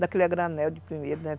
Daquele a granel de primeiro, né?